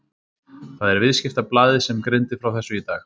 Það er Viðskiptablaðið sem greindi frá þessu í dag.